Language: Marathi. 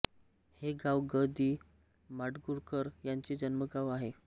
हे गाव ग दि माडगूळकर यांचे जन्मगाव आहे